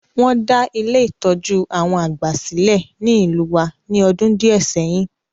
Won da Ile-itọju àwon àgbà silẹ̀ ni ìlú wa ni ọdún díẹ̀ sẹyin.